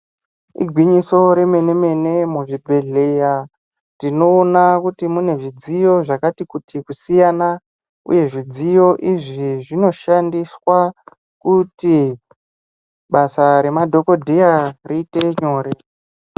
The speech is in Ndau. Igwinyiso remene mene muzvibhedhleya tinoona kuti munezvidziyo zvakati kuti kusiyana uye zvidziyo izvi zvinoshandiswa kuti basa remadhokodheya riite nyore.